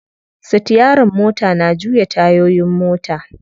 Sitiyarin mota na juya tayoyin mota.